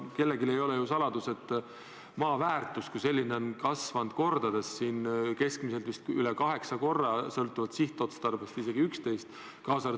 Kellelegi ei ole ju saladus, et maa väärtus on kasvanud kordades: keskmiselt vist üle kaheksa korra, sõltuvalt sihtotstarbest isegi kuni 11 korda.